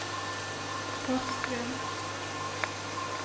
Porsgrunn